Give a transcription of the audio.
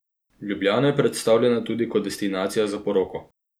Ljubljana je predstavljena tudi kot destinacija za poroko.